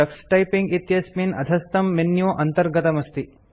Tux typing इत्यस्मिन् अधस्थं menu अन्तर्गतमस्ति